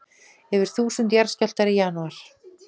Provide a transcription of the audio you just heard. Yfir þúsund jarðskjálftar í janúar